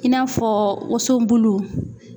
I n'a fɔ woson bulu